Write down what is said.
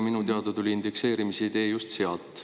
Minu teada tuli indekseerimise idee just sealt.